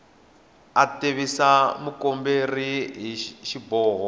a tivisa mukomberi hi xiboho